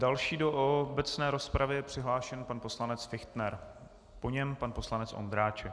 Další do obecné rozpravy je přihlášen pan poslanec Fichtner, po něm pan poslanec Ondráček.